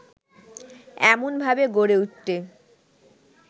এমনভাবে গড়ে উঠতে